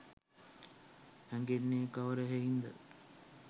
හැඟෙන්නේ කවර හෙයින්ද?